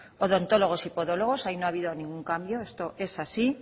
odontólogos y podólogos ahí no ha habido ningún cambio esto es así